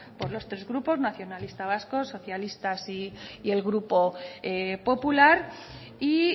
por los tres grupos nacionalistas vascos socialistas y el grupo popular y